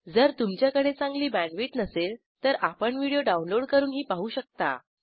जर तुमच्याकडे चांगली बॅण्डविड्थ नसेल तर आपण व्हिडिओ डाउनलोड करूनही पाहू शकता